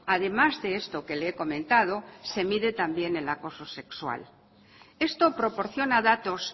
además de esto que le he comentado se mide también el acoso sexual esto proporciona datos